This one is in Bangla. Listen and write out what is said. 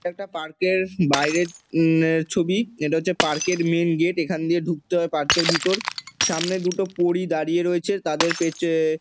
একটা পার্ক - এর বাইরের উমঃ ছবি। এটা হচ্ছে পার্ক -এর মেইন গেট এখান দিয়ে ঢুকতে হয় পার্ক -এর ভিতর। সামনে দুটো পরী দাঁড়িয়ে রয়েছে তাদের পেছনে |